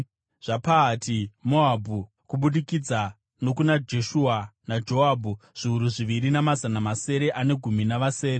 zvaPahati-Moabhu (kubudikidza nokuna Jeshua naJoabhu), zviuru zviviri, namazana masere ane gumi navasere;